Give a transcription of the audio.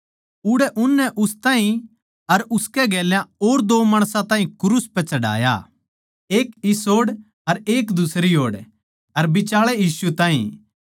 उड़ै उननै उस ताहीं अर उसकै गेल्या और दो माणसां ताहीं क्रूस पै चढ़ाया एक इस ओड़ अर एक दुसरी ओड़ अर बिचाळै यीशु ताहीं